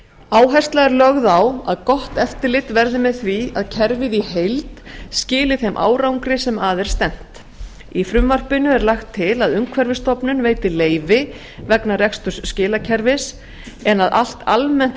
áhersla er lögð á að gott eftirlit verði með því að kerfið í heild skili þeim árangri sem að er stefnt í frumvarpinu er lagt til að umhverfisstofnun veiti leyfi vegna reksturs skilakerfis en að allt almennt